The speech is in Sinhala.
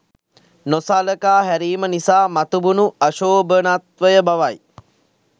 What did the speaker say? නොසලකා හැරීම නිසා මතුවුණු අශෝභනත්වය බවයි